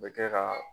U bɛ kɛ ka